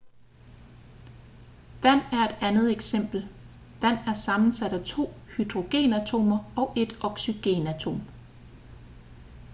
vand er et andet eksempel vand er sammensat af to hydrogenatomer og et oxygenatom